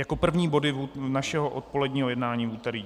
Jako první body našeho odpoledního jednání v úterý.